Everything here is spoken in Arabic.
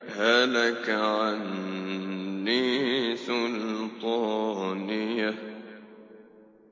هَلَكَ عَنِّي سُلْطَانِيَهْ